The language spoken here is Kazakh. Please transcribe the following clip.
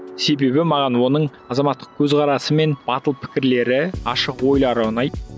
себебі маған оның азаматтық көзқарасы мен батыл пікірлері ашық ойлары ұнайды